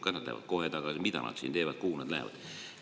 Kas nad lähevad kohe tagasi, mida nad siin teevad, kuhu nad lähevad?